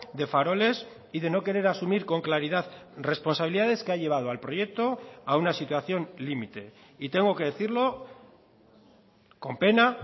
de faroles y de no querer asumir con claridad responsabilidades que ha llevado al proyecto a una situación límite y tengo que decirlo con pena